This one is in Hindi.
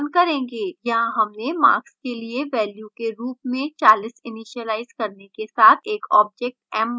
यहाँ हमने marks के लिए value के रूप में 40 इनिसीलाइज करने के साथ एक object m1 बनाया है